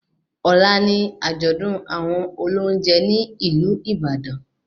Ọ̀la ni àjọ̀dún àwọn olóúnjẹ ní ìlú Ìbàdàn